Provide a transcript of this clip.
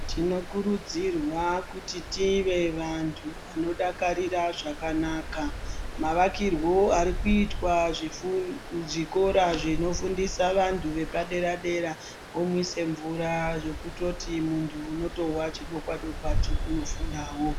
Tinokurudzirwa kuti tive vantu vanodakarira zvakanaka. Mavakirwo ari kuitwa zvikora zvinofundisa vantu vepadera-dera omwisa mvura zvekutoti muntu unotohwa chidokwa- dokwa chekunofundawo.